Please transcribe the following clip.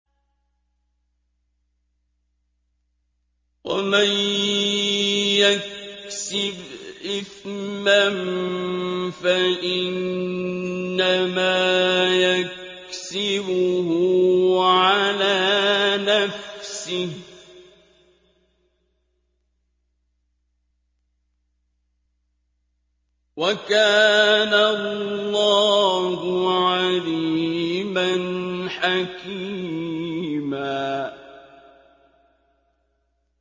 وَمَن يَكْسِبْ إِثْمًا فَإِنَّمَا يَكْسِبُهُ عَلَىٰ نَفْسِهِ ۚ وَكَانَ اللَّهُ عَلِيمًا حَكِيمًا